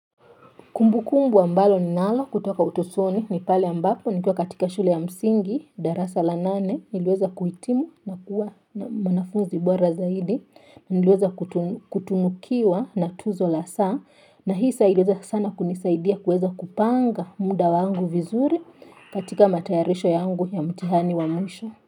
Kumbu kumbu ambalo ni nalo kutoka utotoni ni pale ambapo ni kwa katika shule ya msingi, darasa la nane, niliweza kuhitimu na kuwa mwanafunzi bora zaidi, niliweza kutunukiwa na tuzo la saa, na hii saa iliweza sana kunisaidia kuweza kupanga muda wangu vizuri katika matayarisho yangu ya mtihani wa mwisho.